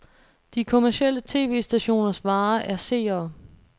De kommercielle tv-stationers vare er seere.